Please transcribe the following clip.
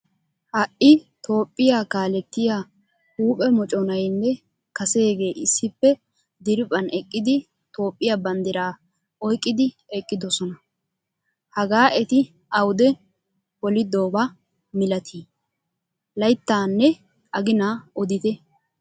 Hai toophphiyaa kaalettiyaa huuphphe mocconayne kasege issippe diriphphan eqqidi toophphiyaa banddira oyqqidi eqqidosona. Hagaa etti awude polidoba milati? Layttane agina odite?